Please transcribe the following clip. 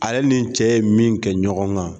Ale nin cɛ ye min kɛ ɲɔgɔn kan